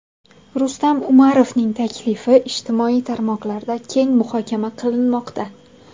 Rustam Umarovning taklifi ijtimoiy tarmoqlarda keng muhokama qilinmoqda.